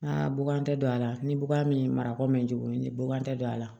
bugan tɛ don a la ni buba min ye marako min buran tɛ don a la